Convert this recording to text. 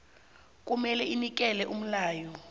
kumele inikele umyalo